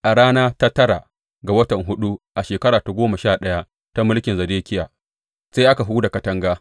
A rana ta tara ga watan huɗu a shekara ta goma sha ɗaya ta mulkin Zedekiya, sai aka huda katanga.